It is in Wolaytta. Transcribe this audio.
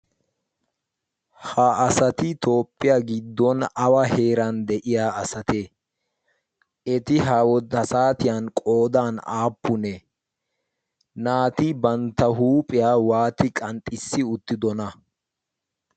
ha asati tooppiyaa giddon awa heeran de'iya asate eti ha wodasaatiyan qoodan aappunee naati bantta huuphiyaa waati qanxxissi uttidona?